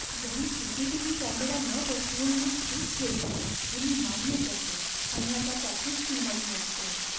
घरी CCTV. Camera न बसवून मी चूक केली हे मी मान्य करतो आणि आता त्याचीच किंमत मोजतोय.